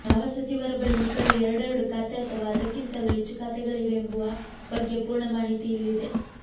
ಯಾವ ಸಚಿವರ ಬಳಿ ಈಗಲೂ ಎರಡೆರಡು ಖಾತೆ ಅಥವಾ ಅದಕ್ಕಿಂತಲೂ ಹೆಚ್ಚು ಖಾತೆಗಳಿವೆ ಎಂಬುವ ಬಗ್ಗೆ ಪೂರ್ಣ ಮಾಹಿತಿ ಇಲ್ಲಿದೆ